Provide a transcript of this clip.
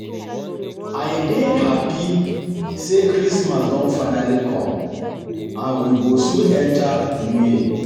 I dey happy say christmas don finally come and we go soon enter new year